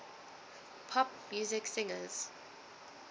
pop music singers